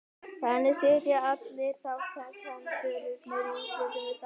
Þannig sitja allir þátttakendurnir í úrslitunum við sama borð.